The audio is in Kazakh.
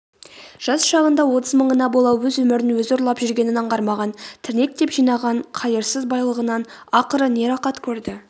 жас шағында отыз мыңына бола өз өмірін өзі ұрлап жүргенін аңғармаған тірнектеп жинаған қайырсыз байлығынан ақыры не рақат көрді